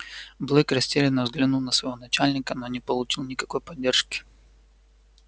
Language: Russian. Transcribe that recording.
блэк растерянно взглянул на своего начальника но не получил никакой поддержки